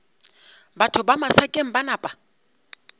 batho ba masakeng ba napa